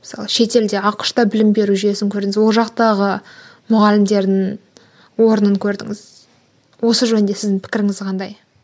мысалы шетелде ақш та білім беру жүйесін көрдіңіз ол жақтағы мұғалімдердің орнын көрдіңіз осы жөнінде сіздің пікіріңіз қандай